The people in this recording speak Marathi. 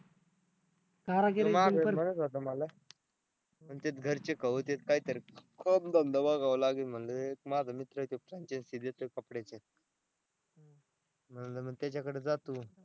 आमच्याच घरचे कवच आहेत काहीतरी एक माझा मित्र आहे तो franchise देतोय कपड्याची म्हंटल मग त्याच्याकडं जातो.